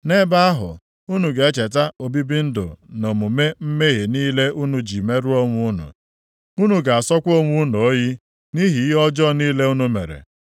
Nʼebe ahụ, unu ga-echeta obibi ndụ na omume mmehie niile unu ji merụọ onwe unu. Unu ga-asọkwa onwe unu oyi, nʼihi ihe ọjọọ niile unu mere.